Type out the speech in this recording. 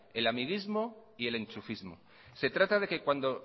el amiguismo y el enchufismo se trata de que cuando